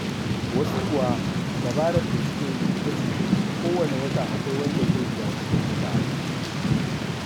Wasu kuwa dabarar da suke yi ita ce kowanne wata akwai wanda zai biya kuɗin wuta.